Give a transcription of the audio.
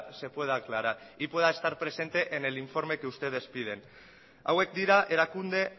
se pueda aclarar y pueda estar presente en el informe que ustedes piden hauek dira erakunde